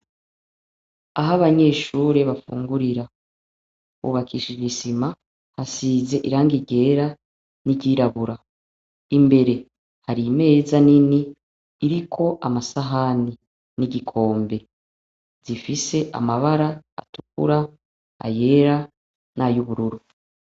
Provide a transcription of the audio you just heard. Aho abanyeshure bafungurira hubakishije isima. Hasize irangi ryera n'iryirabura. imbere hari imeza nini iriko amasahani n'igikombe. Zifise amabara atukura, ayera n' ay'ubururu.